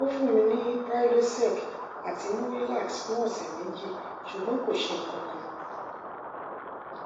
ó fún mi ní prylosec àti murilax fún ọsẹ méjì ṣùgbọn kò ṣe kankan